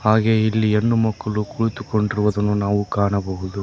ಹಾಗೆ ಇಲ್ಲಿ ಹೆಣ್ಣು ಮಕ್ಕಳು ಕುಳಿತುಕೊಂಡಿರುವುದನ್ನು ನಾವು ಕಾಣಬಹುದು.